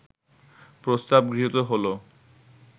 প্রস্তাব গৃহীত হলো